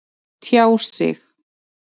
Tjá sig